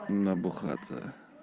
набухаться